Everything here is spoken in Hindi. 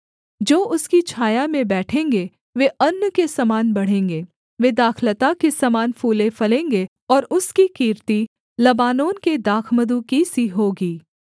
जो उसकी छाया में बैठेंगे वे अन्न के समान बढ़ेंगे वे दाखलता के समान फूलेफलेंगे और उसकी कीर्ति लबानोन के दाखमधु की सी होगी